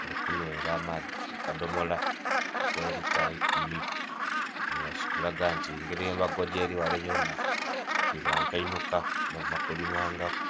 ali kunhwera amaadhi ku kadhomolo ake lita ikumi. Nga kikulaga nti ngeri embago yeri ghale yonha elaga nti bankainhuka bava kulimangaku.